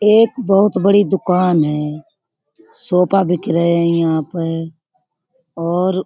एक बहुत बड़ी दुकान है सोफा बिक रहे हैं यहाँ पर। और